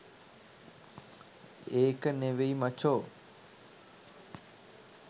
ඒක නෙවෙයි මචෝ